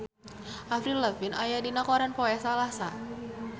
Avril Lavigne aya dina koran poe Salasa